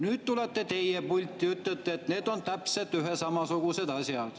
Nüüd tulete teie pulti ja ütlete, et need on täpselt ühesugused asjad.